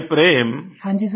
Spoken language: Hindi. प्रेम जी हाँ जी सर